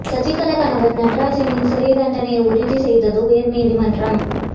சசிகலா கணவர் நடராஜனின் சிறை தண்டனையை உறுதி செய்தது உயர் நீதிமன்றம்